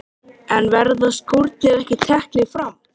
Hvaða máli skiptir mig líka þessi strákur?